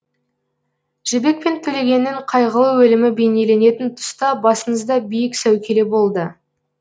жібек пен төлегеннің қайғылы өлімі бейнеленетін тұста басыңызда биік сәукеле болды